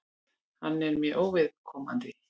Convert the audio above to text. Hann er mér óviðkomandi.